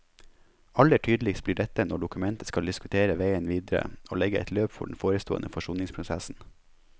Aller tydeligst blir dette når dokumentet skal diskutere veien videre, og legge et løp for den forestående forsoningsprosessen.